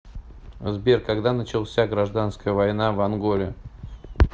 сбер когда начался гражданская война в анголе